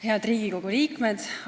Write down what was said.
Head Riigikogu liikmed!